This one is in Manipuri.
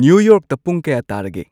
ꯅ꯭ꯌꯨ ꯌꯣꯔꯛꯇ ꯄꯨꯡ ꯀꯌꯥ ꯇꯥꯔꯒꯦ